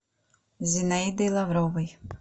зинаидой лавровой